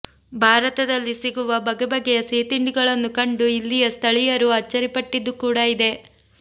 ಭಾರತದಲ್ಲಿ ಸಿಗುವ ಬಗೆಬಗೆಯ ಸಿಹಿತಿಂಡಿಗಳನ್ನು ಕಂಡು ಇಲ್ಲಿಯ ಸ್ಥಳೀಯರು ಅಚ್ಚರಿಪಟ್ಟಿದ್ದೂ ಕೂಡ ಇದೆ